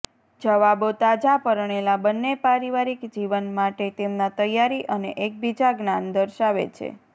જવાબો તાજા પરણેલા બન્ને પારિવારિક જીવન માટે તેમના તૈયારી અને એકબીજા જ્ઞાન દર્શાવે છે